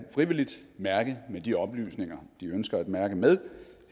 frivilligt mærke med de oplysninger de ønsker at mærke med